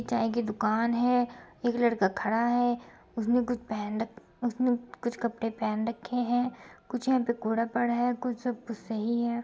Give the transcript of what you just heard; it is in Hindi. चाय की दुकान है एक लड़का खड़ा है उसने कुछ पहन रख उसने कुछ कपड़े पहन रखे हैं कुछ यहां पर कूड़ा पड़ा है कुछ सब कुछ सही है।